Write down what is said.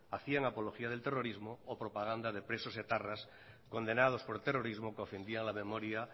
hacían apología del terrorismo o propaganda de presos etarras condenados por terrorismo que ofendían la memoria